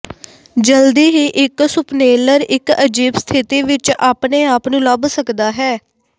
ਜਲਦੀ ਹੀ ਇਕ ਸੁਪਨੇਲਰ ਇੱਕ ਅਜੀਬ ਸਥਿਤੀ ਵਿੱਚ ਆਪਣੇ ਆਪ ਨੂੰ ਲੱਭ ਸਕਦਾ ਹੈ